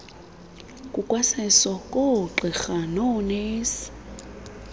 kukwaseso koogqirha noonesi